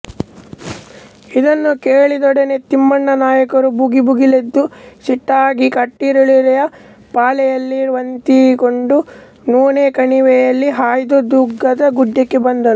ಇದನ್ನು ಕೇಳಿದೊಡನೆ ತಿಮ್ಮಣ್ಣನಾಯಕನು ಭುಗಿಭುಗಿಲ್ಲೆಂದು ಸಿಟ್ಟಾಗಿ ಕಟ್ಟಿರುಳಿಲ್ಲಿಯೆ ಪಾಳೆಯವನ್ನೆತ್ತಿಕೊಂಡು ನೂಲೋಕಣಿವೆಯಲ್ಲಿ ಹಾಯ್ದು ದುರ್ಗದ ಗುಡ್ಡಕ್ಕೆ ಬಂದನು